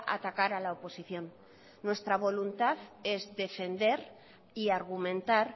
atacar a la oposición nuestra voluntad es defender y argumentar